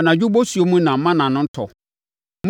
Anadwo bosuo mu na mana no tɔ.